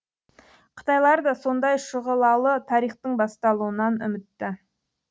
қытайлар да сондай шұғылалы тарихтың басталуынан үмітті